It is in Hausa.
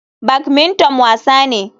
Badmington wasa ne.